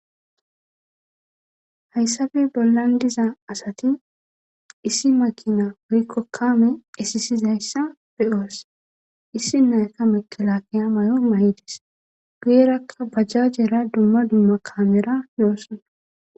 Hayssafe bollan diza asati issi makina woykko kaame esisizayssa beyoos issi nayaka mekelakeya may'o may'idis guyerakka bajja jeera dumma dumma kaamera yoossana.